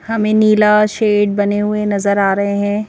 हमें नीला शेड बने हुए नजर आ रहे हैं।